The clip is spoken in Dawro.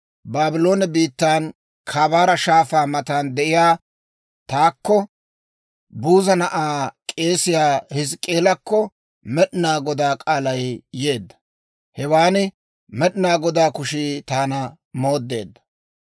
Baabloone biittan Kabaara Shaafaa matan de'iyaa taakko, Buuza na'aa, k'eesiyaa Hizk'k'eelakko Med'inaa Godaa k'aalay yeedda; hewan Med'inaa Godaa kushii taana mooddeedda.